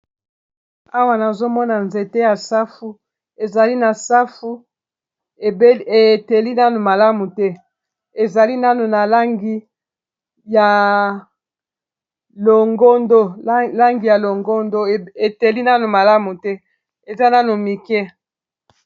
Awa nazomona nzete ya safu, ezali na safu eteli nanu malamu te ezali Nanu n'a langi ya longondo eteli nanu malamu te eza nano mike.